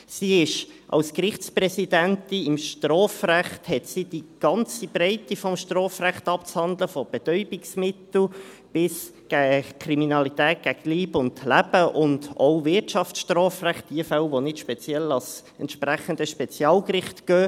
Sie hat als Gerichtspräsidentin im Strafrecht die ganze Breite des Strafrechts abzuhandeln, von Betäubungsmittel bis Kriminalität gegen Leib und Leben, und auch Wirtschaftsstrafrecht, die Fälle, die nicht speziell ans entsprechende Spezialgericht gehen.